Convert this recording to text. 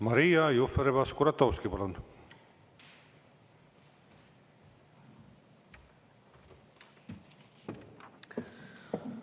Maria Jufereva-Skuratovski, palun!